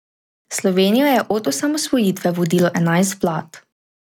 Slovenijo je od osamosvojitve vodilo enajst vlad.